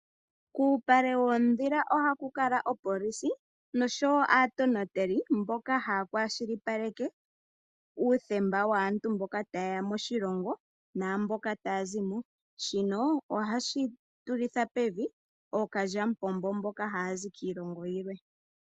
Kuupale woondhila ohaku kala opolisi noshowo aatonateli mboka haya kwashilipaleke uuthemba waantu mboka ta yeya moshilongo naamboka taya zimo . Shino ohashi shunitha pevi ookalyamupombo mboka haya zi kiilongo yimwe.